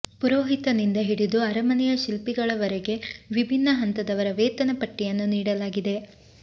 ಪುರೋಹಿತನಿಂದ ಹಿಡಿದು ಅರಮನೆಯ ಶಿಲ್ಪಿಗಳವರೆಗೆ ವಿಭಿನ್ನ ಹಂತದವರ ವೇತನ ಪಟ್ಟಿಯನ್ನು ನೀಡಲಾಗಿದೆ